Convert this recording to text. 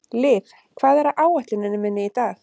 Liv, hvað er á áætluninni minni í dag?